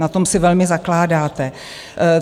Na tom si velmi zakládáte.